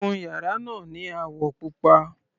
Kun yàrá náà ni àwọ̀ pupa.